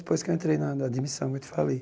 Depois que eu entrei na na admissão, eu te falei.